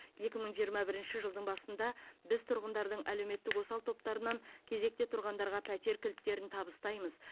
екі мың жиырма бірінші жылдың басында біз тұрғындардың әлеуметтік осал топтарынан кезекте тұрғандарға пәтер кілттерін табыстаймыз